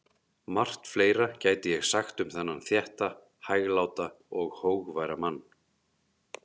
Margt fleira gæti ég sagt um þennan þétta, hægláta og hógværa mann.